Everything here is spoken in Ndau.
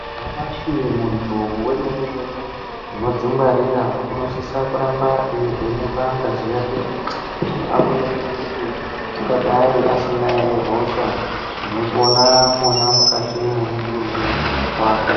Nyamashi muntu wemene-mene unodzingwarira unosisa kuramba eivhenekwa ngazi yake kuti aonekwe kuti ungadai asina ere hosha inopona mwona mukati memutumbi wake.